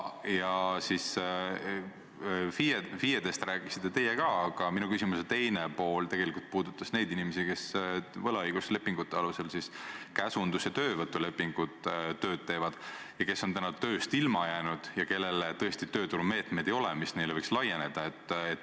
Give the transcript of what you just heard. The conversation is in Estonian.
FIE-dest te küll rääkisite, aga minu küsimuse teine pool puudutas tegelikult neid inimesi, kes teevad tööd võlaõiguslepingute ehk käsundus- ja töövõtulepingute alusel ning kes on täna tööst ilma jäänud ja kelle jaoks tõesti selliseid tööturumeetmeid ei ole, mis neile võiksid laieneda.